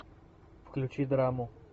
включи драму